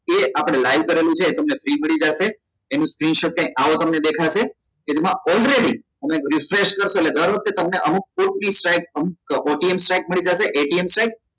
જે આપડે live કરેલું છે એ તમને free મળી જશે એનું screenshot કાઈક આવું તમને દેખાશે કે જેમાં already તમે refresh કરશો એટલે દર વખતે તમને અમુક મળી જશે ATM check